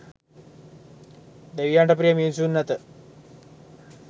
දෙවියන්ට ප්‍රිය මිනිසුන් ඇත.